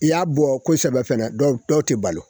I y'a bɔ kosɛbɛ fɛnɛ dɔw tɛ balo